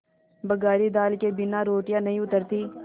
बघारी दाल के बिना रोटियाँ नहीं उतरतीं